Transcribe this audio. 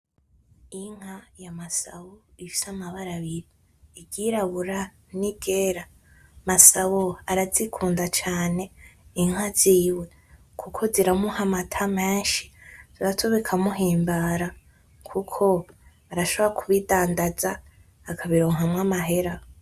Inka ya Masaho ifise amabara abiri iryirabura n´iryera Masabo arazikunda cane inka ziwe kuko ziramuha amata meshi navyo bikamuhimbara kuko arashobora ku bidandaza akabironka mwo amahera.